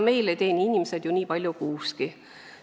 Meil ei teeni inimesed ju nii palju kuuski.